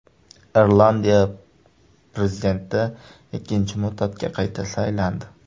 Irlandiya prezidenti ikkinchi muddatga qayta saylandi.